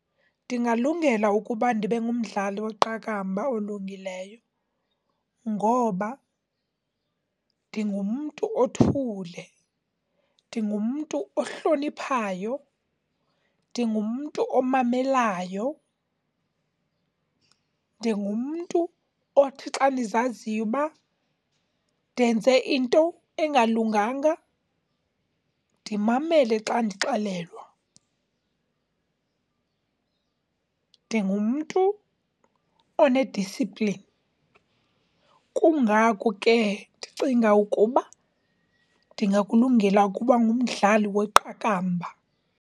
Ndingalungela ukuba ndibe ngumdlali weqakamba olungileyo ngoba ndingumntu othule, ndingumntu ohloniphayo, ndingumntu omamelayo, ndingumntu othi xa ndizaziyo uba ndenze into engalunganga ndimamele xa ndixelelwa, ndingumntu one-discipline. Kungako ke ndicinga ukuba ndingakulungela ukuba ngumdlali weqakamba.